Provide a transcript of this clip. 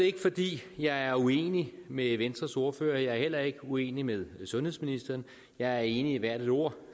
ikke fordi jeg er uenig med venstres ordfører jeg er heller ikke uenig med sundhedsministeren jeg er enig i hvert et ord